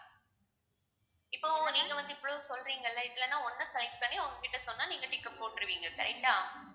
இப்போவும் நீங்க வந்து இவ்ளோ சொல்றீங்கல்லே இதுல நான் ஒண்ணா select பண்ணி உங்ககிட்டே சொன்னா நீங்க tick அ போட்டுருவீங்க correct ஆ